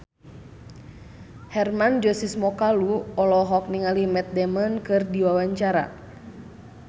Hermann Josis Mokalu olohok ningali Matt Damon keur diwawancara